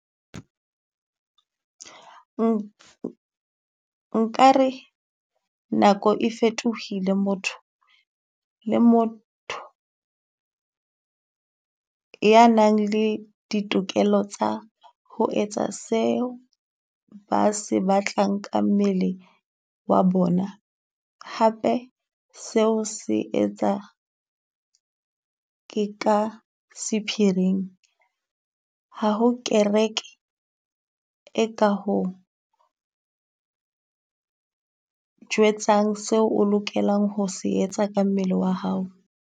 Nkare nako e fetohile, motho le motho ya nang le ditokelo tsa ho etsa seo ba se batlang ka mmele wa bona. Hape seo se etsa ke ka sephiring, ha ho kereke e ka ho jwetsang seo o lokelang ho se etsa ka mmele wa hao.